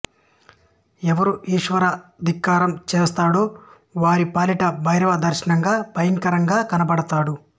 ఎవరు ఈశ్వర ధిక్కారం చేస్తాడో వారి పాలిట భైరవ దర్శనంగా భయంకరంగా కనపడతాడు